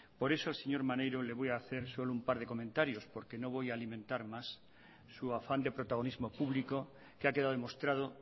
por eso al señor maneiro le voy a hacer solo un par de comentarios porque no voy a alimentar más su afán de protagonismo público que ha quedado demostrado